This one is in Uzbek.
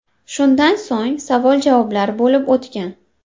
Shundan so‘ng savol-javoblar bo‘lib o‘tgan.